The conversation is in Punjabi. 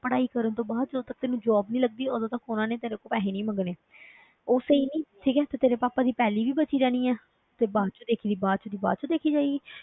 ਪੜ੍ਹਾਈ ਕਰਨ ਤੋਂ ਬਾਅਦ ਜਦੋਂ ਤੱਕ ਤੈਨੂੰ job ਨੀ ਲੱਗਦੀ ਉਦੋਂ ਤੱਕ ਉਹਨਾਂ ਨੇ ਤੇਰੇ ਕੋਲੋਂ ਪੈਸੇ ਨੀ ਮੰਗਣਾ ਉਹ ਸਹੀ ਨੀ, ਠੀਕ ਹੈ ਤੇ ਤੇਰੇ ਪਾਪਾ ਦੀ ਪੈਲੀ ਵੀ ਬਚੀ ਰਹਿਣੀ ਹੈ, ਤੇ ਬਾਅਦ ਵਿੱਚ ਦੇਖ ਲਈਂ, ਬਾਅਦ 'ਚ ਦੀ ਬਾਅਦ ਵਿੱਚ ਦੇਖੀ ਜਾਏਗੀ।